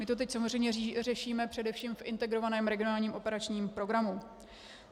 My to teď samozřejmě řešíme především v Integrovaném regionálním operačním programu.